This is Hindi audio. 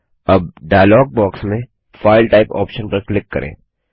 अब डाइलॉग बॉक्स में फाइल टाइप ऑप्शन पर क्लिक करें